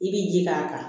I bi ji k'a kan